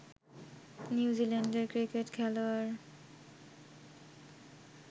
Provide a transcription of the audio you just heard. নিউজিল্যান্ডের ক্রিকেট খেলোয়াড়